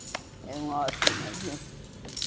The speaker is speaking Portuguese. Eram ótimas, viu?